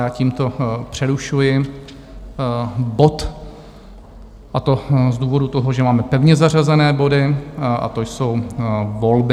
Já tímto přerušuji bod, a to z důvodu toho, že máme pevně zařazené body, a to jsou volby.